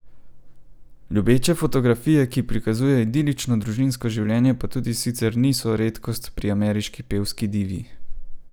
Ljubeče fotografije, ki prikazujejo idilično družinsko življenje pa tudi sicer niso redkost pri ameriški pevski divi.